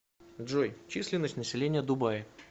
джой численность населения дубаи